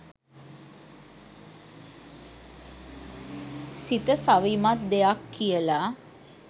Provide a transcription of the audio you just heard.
සිත සවිමත් දෙයක් කියලා